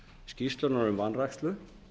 skýrslunnar um vanrækslu